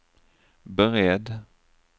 beredd